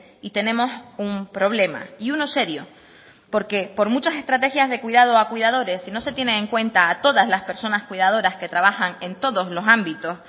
y tenemos un problema y uno serio porque por muchas estrategias de cuidado a cuidadores si no se tienen en cuenta a todas las personas cuidadoras que trabajan en todos los ámbitos